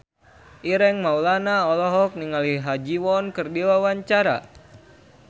Ireng Maulana olohok ningali Ha Ji Won keur diwawancara